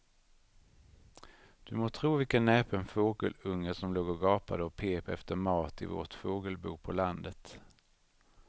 Du må tro vilken näpen fågelunge som låg och gapade och pep efter mat i vårt fågelbo på landet.